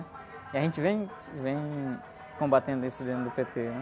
E a gente vem, vem combatendo isso dentro do pê-tê, né?